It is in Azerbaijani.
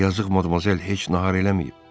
Axı yazıq Modmozel heç nahar eləməyib.